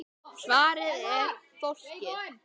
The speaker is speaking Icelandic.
Svarið er: Fólkið.